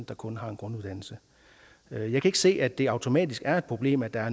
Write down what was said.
der kun har en grunduddannelse jeg kan ikke se at det automatisk er et problem at der er